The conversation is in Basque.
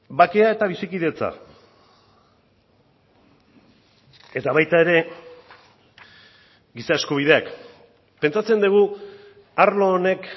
bakea eta bizikidetza eta baita ere giza eskubideak pentsatzen dugu arlo honek